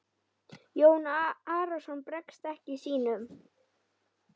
Jón Arason bregst ekki sínum.